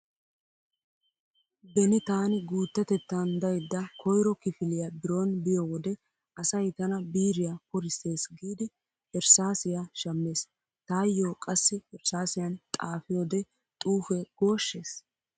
Beni taani guuttatettan daydda koyro kifiliya biron biyo wode asay tana biiriya porissees giidi erssaasiya shammeesi. Taayyo qassi erssaasiyan xaafiyode xuufe gooshshees.